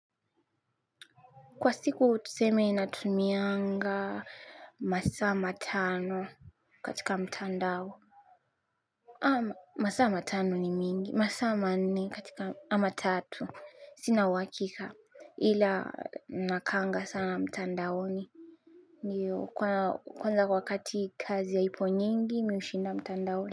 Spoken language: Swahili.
Kwa siku tuseme natumianga masa matano katika mtandao. Ama masama tano ni mingi, masa ma nne katika ama tatu. Sina uwakika ila nakanga sana mtandaoni. Ndiyo kwanza wakati kazi haipo nyingi mi ushinda mtandaoni.